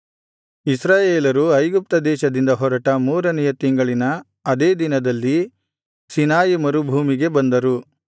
ಇಸ್ರಾಯೇಲರು ಐಗುಪ್ತ ದೇಶದಿಂದ ಹೊರಟ ಮೂರನೆಯ ತಿಂಗಳಿನ ಅದೇ ದಿನದಲ್ಲಿ ಸೀನಾಯಿ ಮರುಭೂಮಿಗೆ ಬಂದರು